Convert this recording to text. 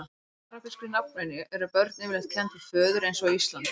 samkvæmt arabískri nafnvenju eru börn yfirleitt kennd við föður eins og á íslandi